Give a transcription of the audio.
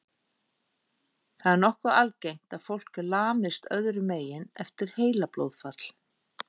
Það er nokkuð algengt að fólk lamist öðrum megin eftir heilablóðfall.